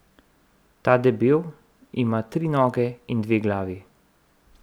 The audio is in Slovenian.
Ta debel ima tri noge in dve glavi.